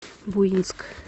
буинск